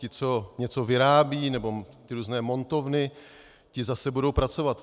Ti, co něco vyrábějí, nebo ty různé montovny, ti zase budou pracovat.